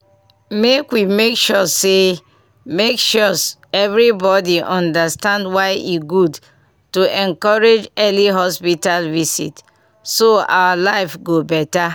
make we make sure make sure everybody understand why e good to encourage early hospital visit so our life go better.